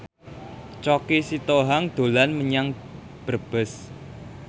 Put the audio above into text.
Choky Sitohang dolan menyang Brebes